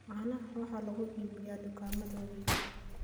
Caanaha waxaa lagu iibiyaa dukaamada waaweyn.